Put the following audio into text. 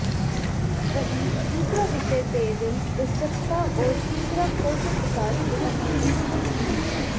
वहीं दूसरा विषय पेयजल व स्वच्छता और तीसरा कौशल विकास के संबंध में था